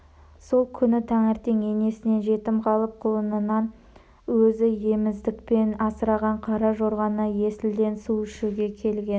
сол күні таңертең енесінен жетім қалып құлынынан өзі еміздікпен асыраған қара жорғаны есілден су ішуге келген